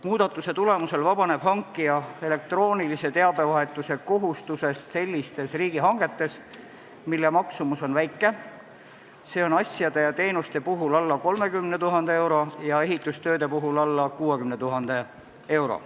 Muudatuse tulemusel vabaneb hankija elektroonilise teabevahetuse kohustusest selliste riigihangete korral, mille maksumus on väike, st asjade ja teenuste puhul alla 30 000 euro ja ehitustööde puhul alla 60 000 euro.